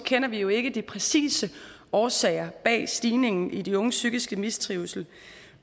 kender vi jo ikke de præcise årsager bag stigningen i de unges psykiske mistrivsel